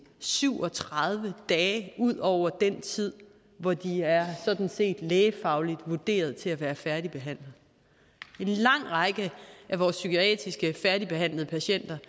syv og tredive dage ud over den tid hvor de sådan set er lægefagligt vurderet til at være færdigbehandlet en lang række af vores psykiatriske færdigbehandlede patienter